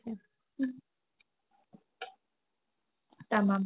তামাম